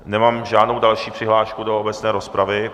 Nemám žádnou další přihlášku do obecné rozpravy.